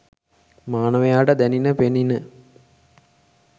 මානවයාට දැනිණ, පෙනිණ.